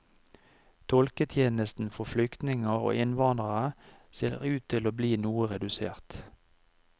Tolketjenesten for flyktninger og innvandrere ser ut til å bli noe redusert.